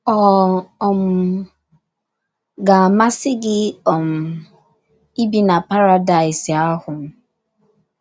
* Ọ̀ um ga - amasị gị um ibi na paradaịs ahụ?